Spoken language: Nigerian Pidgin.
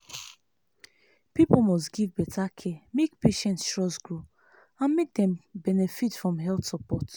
people must give better care make patient trust grow and make dem benefit from health support.